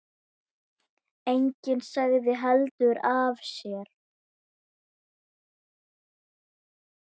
Enginn sagði heldur af sér.